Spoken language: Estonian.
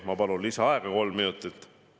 Ma palun kolm minutit lisaaega.